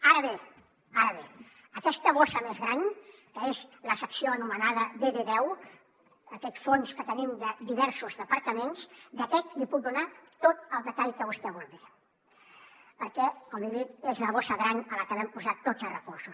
ara bé aquesta bossa més gran que és la secció anomenada dd10 aquest fons que tenim de diversos departaments d’aquest li puc donar tot el detall que vostè vulgui perquè com li he dit és la bossa gran a la que vam posar tots els recursos